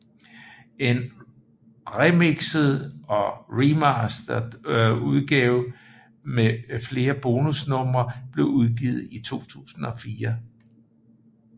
En remikset og remastered udgave med flere bonusnumre blev udgivet i 2004